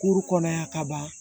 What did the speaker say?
Kuru kɔnɔ yan kaban